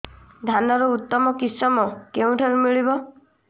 ଧାନର ଉତ୍ତମ କିଶମ କେଉଁଠାରୁ ମିଳିବ